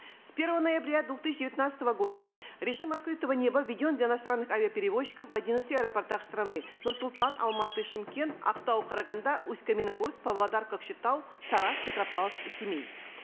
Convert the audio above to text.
с первого ноября две тысячи девятнадцатого года режим открытого неба введен для иностранных авиаперевозчиков в одиннадцати аэропортах страны нур султан алматы шымкент актау караганды усть каменогорск павлодар кокшетау тараз петропавловск и семей